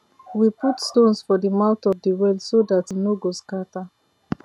we put stones for the mouth of de well so dat e nor go scatter